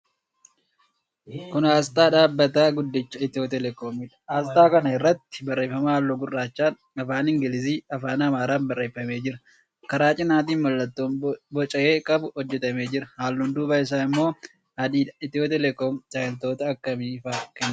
Kun aasxaa dhaabbata guddicha Itiyoo Teelekoomiidha. Aasxaa kana irratti barreeffama halluu gurraachaan, afaan Ingiliziifi afaan Amaaraan barreeffamee jira. Karaa cinaatiin mallattoon boca 'e' qabu hojjetamee jira. Halluun duubaa isaa immoo adiidha. Itiyoo Teelekoom tajaajiloota akkamii faa kenna?